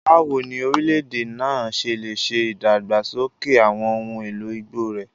Báwo ni orílẹ̀-èdè náà ṣe lè ṣe ìdàgbàsókè àwọn ohun èlò igbó rẹ̀?